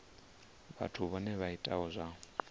vhathu vhohe vha itaho zwa